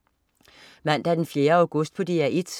Mandag den 4. august - DR 1: